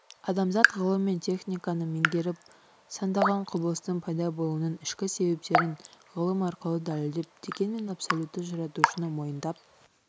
адамзат ғылым мен техниканы меңгеріп сандаған құбылыстың пайда болуының ішкі себептерін ғылым арқылы дәлелдеп дегенмен абсолютті жаратушыны мойындап